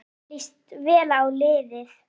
Mér líst vel á liðið.